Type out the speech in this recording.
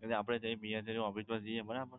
એટલે આપડે BSNL ની office મા જઈએ બરાબર